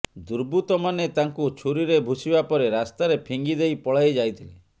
ଦୁର୍ବୃତ୍ତମାନେ ତାଙ୍କୁ ଛୁରିରେ ଭୁସିବା ପରେ ରାସ୍ତାରେ ଫିଙ୍ଗି ଦେଇ ପଳାଇ ଯାଇଥିଲେ